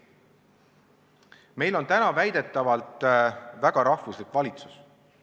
Meil on täna väidetavalt väga rahvuslik valitsus.